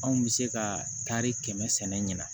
Anw bɛ se ka tari kɛmɛ sɛnɛ ɲina